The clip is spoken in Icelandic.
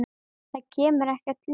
Það kemur ekkert ljós.